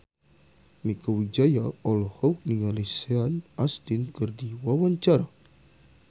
Mieke Wijaya olohok ningali Sean Astin keur diwawancara